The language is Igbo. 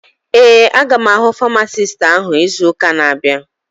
Ee, aga m ahụ famasisti áhụ̀ izu ụka na-abịa